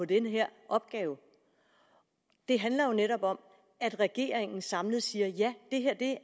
den her opgave det handler jo netop om at regeringen samlet siger ja det her